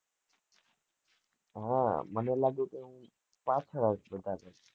હ મને લાગ્યું કે હું